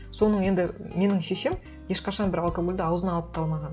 соның енді менің шешем ешқашан бір алкогольді ауызына алып та алмаған